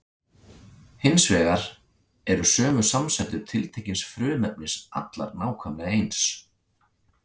Hins vegar eru sömu samsætur tiltekins frumefnis allar nákvæmlega eins.